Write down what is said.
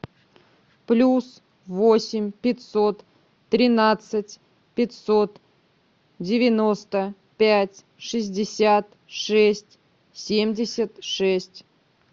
плюс восемь пятьсот тринадцать пятьсот девяносто пять шестьдесят шесть семьдесят шесть